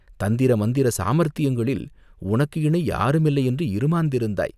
தந்திர மந்திர சாமர்த்தியங்களில் உனக்கு இணை யாரும் இல்லை என்று இறுமாந்திருந்தாய்!